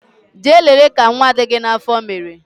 Jee lele ka nwa dị gị n'afọ mere